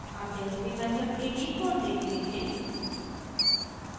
अब jacobi method के लिए कोड देखते हैं